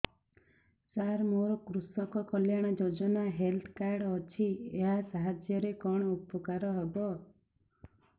ସାର ମୋର କୃଷକ କଲ୍ୟାଣ ଯୋଜନା ହେଲ୍ଥ କାର୍ଡ ଅଛି ଏହା ସାହାଯ୍ୟ ରେ କଣ ଉପକାର ହବ